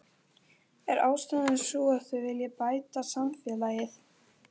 Er ástæðan sú að þau vilji bæta samfélagið?